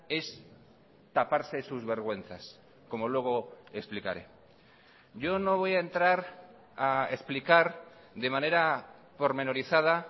es taparse sus vergüenzas como luego explicaré yo no voy a entrar a explicar de manera pormenorizada